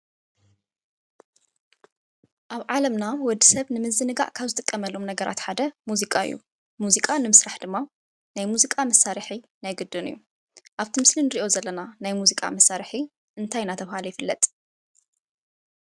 ኣብ ዓለምና ወዲሰብ ንምዝንጋዕ ካብ ዝጥቀመሎም ነገራት ሓደ ሙዚቃ እዩ። ሙዚቃ ንምስራሕ ድማ ናይ ሙዚቃ መሳርሒ ናይ ግድን እዩ። ኣብቲ ምስሊ ንሪኦ ዘለና ናይ ሙዚቃ መሳርሒ እንታይ እናተበሃለ ይፍለጥ?